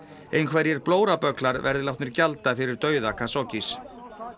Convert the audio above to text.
einhverjir blórabögglar verði látnir gjalda fyrir dauða